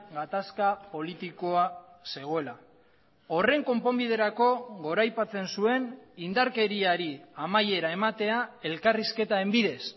gatazka politikoa zegoela horren konponbiderako goraipatzen zuen indarkeriari amaiera ematea elkarrizketaren bidez